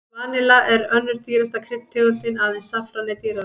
Vanilla er önnur dýrasta kryddtegundin, aðeins saffran er dýrara.